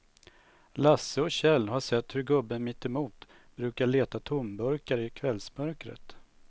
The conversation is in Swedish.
Lasse och Kjell har sett hur gubben mittemot brukar leta tomburkar i kvällsmörkret.